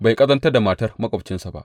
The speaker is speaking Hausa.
Bai ƙazantar da matar maƙwabcinsa ba.